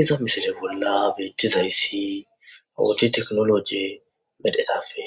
iza misile bolla beethtizayssi awuti teknoloje medhetafe